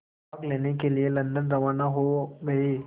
भाग लेने के लिए लंदन रवाना हो गए